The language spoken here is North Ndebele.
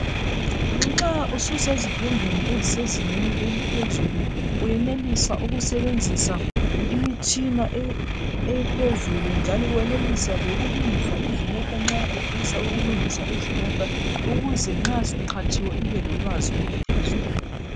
Nxa ususezifundweni ezisezingeni eliphezulu uyenelisa ukusebenzisa imitshina ephezulu njalo wenelisa lokulungisa izimota nxa ufisa ukulungisa izimota ukuze nxa suqhatshiwe ubelolwazi oluphezulu.